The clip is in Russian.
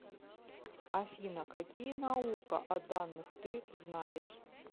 афина какие наука о данных ты знаешь